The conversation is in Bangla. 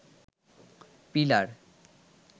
পিলার